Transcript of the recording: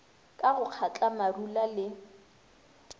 ka go kgatla marula le